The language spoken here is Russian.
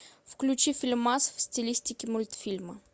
включи фильмас в стилистике мультфильма